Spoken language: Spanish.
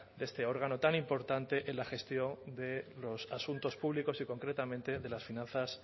de este órgano tan importante en la gestión de los asuntos públicos y concretamente de las finanzas